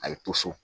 A ye to so